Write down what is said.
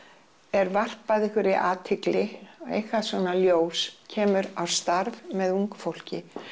er varpað einhverri athygli einhvað svona ljós kemur á starf með ungu fólki